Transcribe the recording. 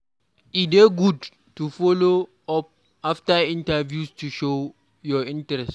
E dey good to follow up after interviews to show your interest.